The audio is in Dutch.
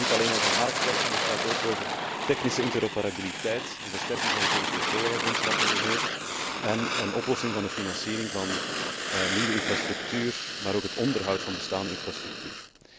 Het gaat niet alleen over marktwerking, het gaat onder meer ook over technische interoperabiliteit, versterking van het Europees Spoorwegagentschap en een oplossing voor de financiering van nieuwe infrastructuur, maar ook het onderhoud van bestaande infrastructuur.